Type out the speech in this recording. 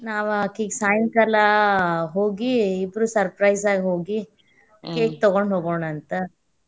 ನಾವ್ ಆಕಿಗೆ ಸಾಯಂಕಾಲಾ ಹೋಗಿ ಇಬ್ರೂ surprise ಆಗಿ ಹೋಗಿ cake ತಗೋಂಡ ಹೋಗುಂನಂತ.